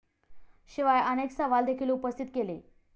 शिवाय अनेक सवाल देखील उपस्थित केले.